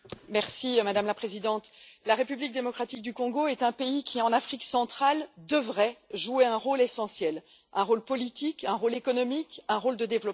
Madame la Présidente, la République démocratique du Congo est un pays qui, en Afrique centrale, devrait jouer un rôle essentiel un rôle politique, un rôle économique, un rôle de développement.